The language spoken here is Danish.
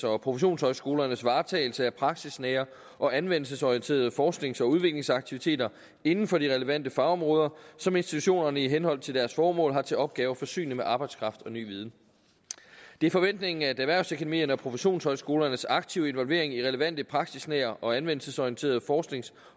og professionshøjskolernes varetagelse af praksisnære og anvendelsesorienterede forsknings og udviklingsaktiviteter inden for de relevante fagområder som institutionerne i henhold til deres formål har til opgave at forsyne med arbejdskraft og ny viden det er forventningen at erhvervsakademierne og professionshøjskolernes aktive involvering i relevante praksisnære og anvendelsesorienterede forsknings